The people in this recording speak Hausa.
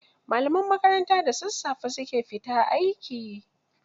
Malaman makaranta da sassafe su ke fita aiki.